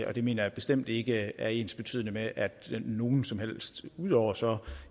og det mener jeg bestemt ikke er ensbetydende med at nogen som helst bliver af ud over så